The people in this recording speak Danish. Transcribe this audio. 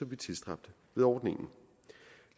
vi tilstræbte med ordningen